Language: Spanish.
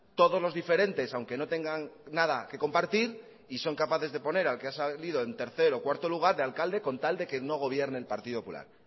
todos los diferentes aunque no tengan nada que compartir y son capaces de poner al que ha salido en tercer o cuarto lugar de alcalde con tal de que no gobierne el partido popular